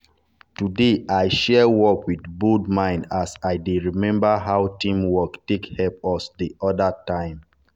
today i share work with bold mind as i dey remember how team work take help us the other time.